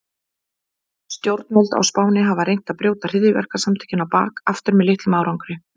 Stjórnvöld á Spáni hafa reynt að brjóta hryðjuverkasamtökin á bak aftur með litlum árangri.